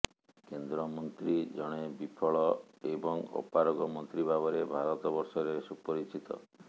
କେନ୍ଦ୍ରମନ୍ତ୍ରୀ ଜଣେ ବିଫଳ ଏବଂ ଅପାରଗ ମନ୍ତ୍ରୀ ଭାବରେ ଭାରତବର୍ଷରେ ସୁପରିଚିତ